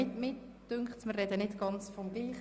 Darf ich der Energiedirektorin das Wort erteilen?